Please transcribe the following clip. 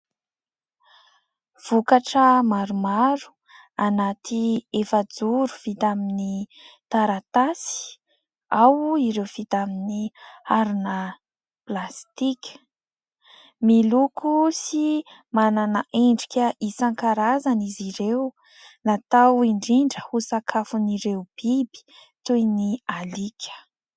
Vokatra maromaro anaty efa-joro vita amin'ny taratasy. Ao ireo vita amin'ny harona plastika. Miloko sy manana endrika isan-karazany izy ireo. Natao indrindra ho sakafon'ireo biby toy ny alika.